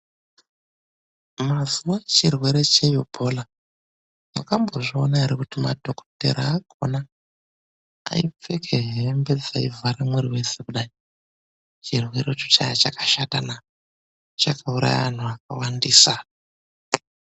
Mazuwa echirwere cheibhola, mwakambozviona ere kuti madhokodheya akhona aipfeke hembe dzaivhare mwiri weshe kudai. Chirwerecho chaiye chakashatana, chakauraye antu akawandisa.